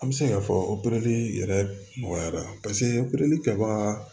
An bɛ se k'a fɔ opereli yɛrɛ nɔgɔyara paseke opereli kɛbaga